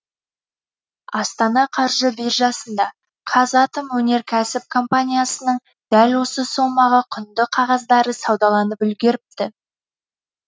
астана қаржы биржасында қазатомөнеркәсіп компаниясының дәл осы сомаға құнды қағаздары саудаланып үлгеріпті